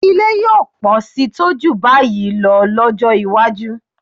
Ilé yóò pọ̀ síi tó jù báyìí lọ lọ́jọ́ iwájú